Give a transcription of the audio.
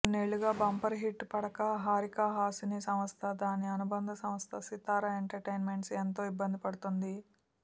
కొన్నేళ్లుగా bumper hit పడక హారిక హాసిని సంస్థ దాని అనుబంధ సంస్థ సితార ఎంటర్టైన్మెంట్స్ ఎంతో ఇబ్బంది పడుతుంది